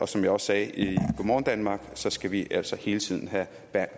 som jeg også sagde i go morgen danmark skal vi altså hele tiden have